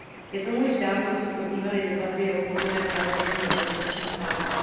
Je tomu již dávno, co probíhaly debaty o povinném zavedení bezpečnostních pásů.